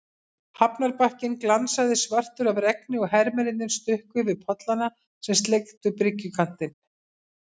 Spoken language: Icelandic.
Hafnarbakkinn glansaði svartur af regni og hermennirnir stukku yfir pollana sem sleiktu bryggjukantinn.